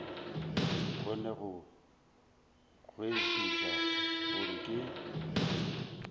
kgone go kwešiša gore ke